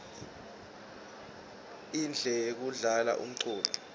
indle yekudlala umculo